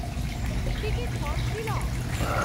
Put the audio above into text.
ticket for Shillong